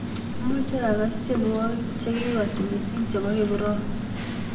Amache agas tyenwogik chegigos missing chebo kiprop